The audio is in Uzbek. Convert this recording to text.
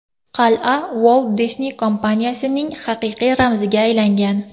Qal’a Walt Disney kompaniyasining haqiqiy ramziga aylangan.